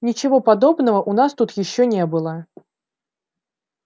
ничего подобного у нас тут ещё не было